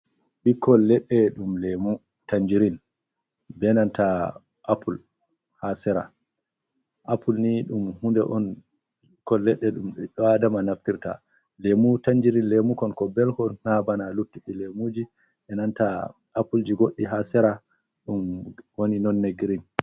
Ɓikkol leɗɗe ɗum leemu Tanjirin, bee nanta Apple haa sera, apple nii ɗum huunde on kol ledde ɗum ɓiɓɓe Aadama naftirta, leemu Tanjirin, leemu kon kon belkon naa bana luttuɗi leemuji bee nanta Appleji, goɗɗi haa sera, ɗum woni nonne girin.